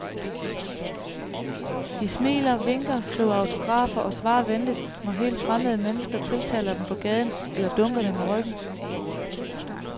De smiler, vinker, skriver autografer og svarer venligt, når helt fremmede mennesker tiltaler dem på gaden eller dunker dem i ryggen.